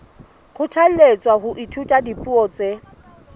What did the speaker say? kgothalletswa ho ithuta dipuo tse